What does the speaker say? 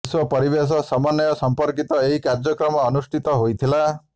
ବିଶ୍ୱ ପରିବେଶ ସମନ୍ନୟ ସର୍ମ୍ପକୀତ ଏହି କାର୍ଯ୍ୟକ୍ରମ ଅନୁଷ୍ଠିତ ହୋଇଥିଲା